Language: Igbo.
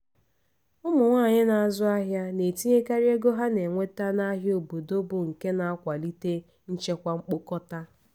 ụmụ nwanyị na-azụ ahịa na-etinyekarị ego ha na-enweta n'ahịa obodo bụ nke na-akwalite nchekwa mkpokọta